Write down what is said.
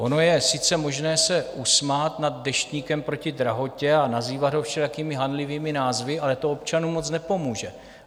Ono je sice možné se usmát nad Deštníkem proti drahotě a nazývat ho všelijakými hanlivými názvy, ale to občanům moc nepomůže.